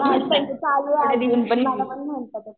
हा त्याचं चालू आहे अजून . मला पण म्हणला तो.